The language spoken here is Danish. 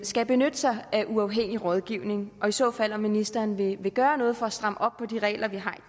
skal benytte sig af uafhængig rådgivning og i så fald om ministeren vil gøre noget for at stramme op på de regler vi har